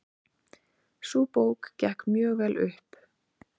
Sú bók gekk mjög vel upp.